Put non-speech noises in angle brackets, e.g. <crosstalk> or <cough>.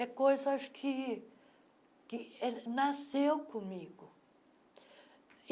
É coisa acho que que <unintelligible> nasceu comigo.